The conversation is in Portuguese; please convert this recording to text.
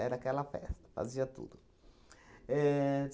Era aquela festa, fazia tudo. Ahn